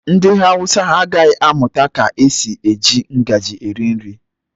Ndị Hausa agaghị amụta ka esi eji ngaji eri nri.